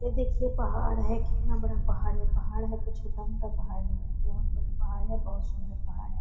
यह देखिए पहाड़ है कितना बड़ा पहाड़ है पहाड़ है तो छोटा-मोटा नहीं है बहोत बड़ा पहाड़ है बहोत सुन्दर पहाड़ है।